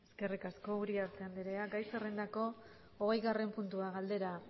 eskerrik asko uriarte andrea gai zerrendako hogeigarren puntua galdera